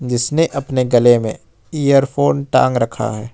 जिसने अपने गले में एयरफोन टांग रखा है।